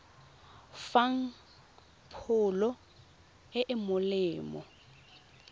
fang pholo e e molemo